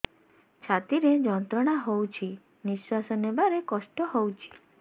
ଛାତି ରେ ଯନ୍ତ୍ରଣା ହଉଛି ନିଶ୍ୱାସ ନେବାରେ କଷ୍ଟ ହଉଛି